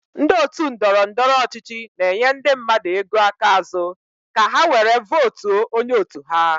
Ndị otu ndọrọndọrọ ọchịchị na-enye ndị mmadụ ego aka azu ka ha were vootuo onye otu ha.